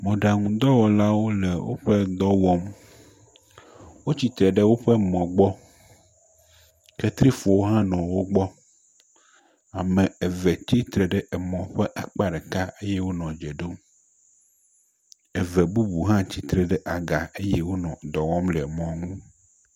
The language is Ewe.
Mɔɖaŋudɔwɔlawo le woƒe dɔ wɔm. Wotsite ɖe woƒe mɔ gbɔ. Ketrifɔ hã nɔ wo gbɔ. Ame eve tsitre ɖe emɔ ƒe akpa ɖeka eye wonɔ dze ɖom. Eve bubu hã tsitre ɖe aga eye wonɔ dɔ wɔm le mɔ ŋu.